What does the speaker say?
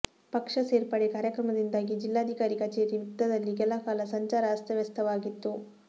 ಪಕ್ಷ ಸೇರ್ಪಡೆ ಕಾರ್ಯಕ್ರಮದಿಂದಾಗಿ ಜಿಲ್ಲಾಧಿಕಾರಿ ಕಚೇರಿ ವೃತ್ತದಲ್ಲಿ ಕೆಲಕಾಲ ಸಂಚಾರ ಅಸ್ತವ್ಯಸ್ತವಾಗಿತ್ತು